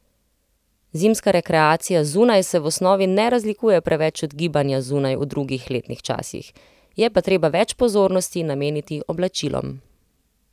Zimska rekreacija zunaj se v osnovi ne razlikuje preveč od gibanja zunaj v drugih letnih časih, je pa treba več pozornosti nameniti oblačilom.